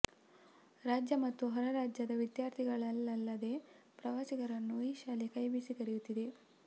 ರಾಜ್ಯ ಮತ್ತು ಹೊರರಾಜ್ಯದ ವಿದ್ಯಾರ್ಥಿಗಳನ್ನಲ್ಲದೇ ಪ್ರವಾಸಿಗರನ್ನು ಈ ಶಾಲೆ ಕೈ ಬೀಸಿ ಕರೆಯುತ್ತಿದೆ